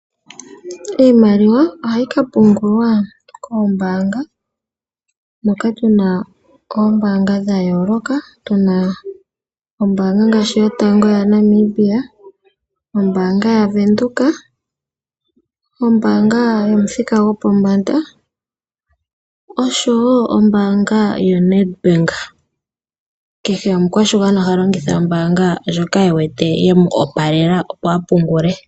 Iimaliwa ohayi ka pungulwa koombaanga, moka tuna oombaanga dha yooloka, tuna ombaanga ngaashi yotango yaNamibia, ombaanga yaVenduka, ombaanga yomuthika gopombanda oshowo ombaanga yoNEDBANK. Kehe omukwashigwana oha longitha ombaanga ndjoka e wete yemu opalela, opo a pungule.